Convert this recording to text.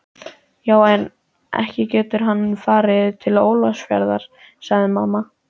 Já en, ekki getur hann farið til Ólafsfjarðar, sagði mamma.